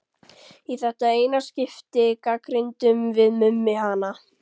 Í þetta eina skipti gagnrýndum við Mummi hana.